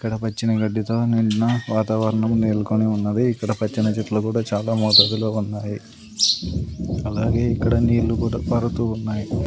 ఇక్కడ పచ్చని గడ్డి తో నిండిన వాతావరణం నెలకొని ఉన్నది. ఇక్కడ పచ్చని చెట్లు కూడా చాలా మోతాదులో ఉన్నాయి. అలాగే ఇక్కడ నీళ్ళు కూడా పారుతూ ఉన్నాయి.